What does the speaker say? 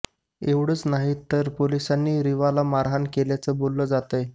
एवढच नाही तर या पोलिसानं रीवाला मारहाण केल्याचं बोललं जातंय